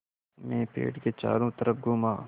मैं पेड़ के चारों तरफ़ घूमा